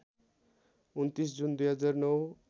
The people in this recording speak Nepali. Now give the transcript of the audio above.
२९ जुन २००९